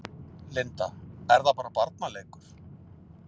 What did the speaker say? Linda: Er þetta bara barnaleikur?